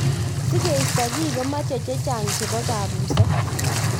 Sikeisto kii komeche chechang cehbo kabuset.